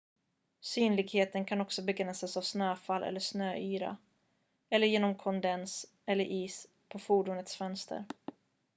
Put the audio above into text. synligheten kan också begränsas av snöfall eller snöyra eller genom kondens eller is på fordonets fönster